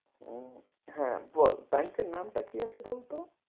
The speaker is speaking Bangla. উম হ্যাঁ বল, bank এর নামটা কি আছে বল তো?